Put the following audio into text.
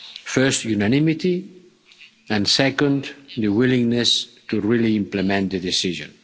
First unanimity, and second the willingness to really implement the decision.